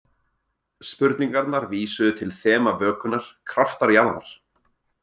Spurningarnar vísuðu til þema vökunnar: Kraftar jarðar.